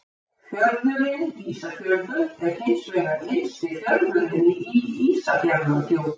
Fjörðurinn Ísafjörður er hins vegar innsti fjörðurinn í Ísafjarðardjúpi.